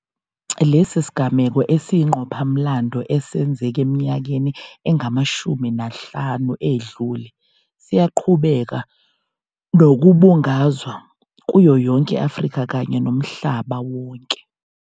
Lesi sigameko esiyingqophamlando esenzeka eminyakeni engama-45 edlule siyaqhubeka nokubungazwa kuyoyonke i-Afrika kanye nomhlaba wonke.